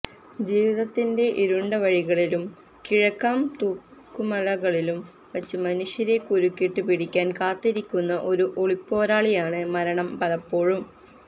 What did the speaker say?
ജീവിതത്തിന്റെ ഇരുണ്ടവഴികളിലും കിഴക്കാംതൂക്കുമലകളിലും വച്ച് മനുഷ്യരെ കുരുക്കിട്ട് പിടിക്കാൻ കാത്തിരിക്കുന്ന ഒരു ഒളിപ്പോരാളിയാണ് മരണം പലപ്പോഴും